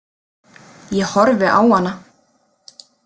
Ég horfi á hana.